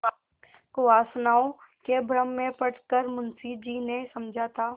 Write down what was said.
कुवासनाओं के भ्रम में पड़ कर मुंशी जी ने समझा था